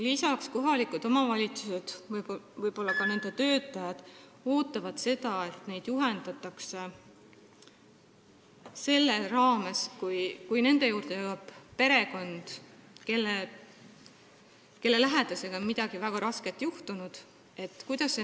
Kohalikud omavalitsused ootavad, et neid selle raames juhendataks, kuidas see nõustamine toimub, kui nende juurde jõuab perekond, kelle lähedasega on midagi väga rasket juhtunud.